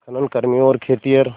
खनन कर्मियों और खेतिहर